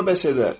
Bir İsa bəs edər.